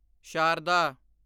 Sharda